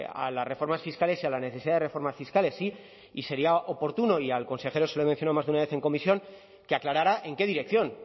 a las reformas fiscales y a la necesidad de reformas fiscales sí y sería oportuno y al consejero se lo he mencionado más de una vez en comisión que aclarara en qué dirección